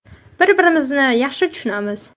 Bir-birimizni yaxshi tushunamiz.